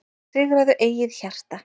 Sigraðu eigið hjarta,